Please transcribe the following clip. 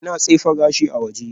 Ina tsefe gashina a waje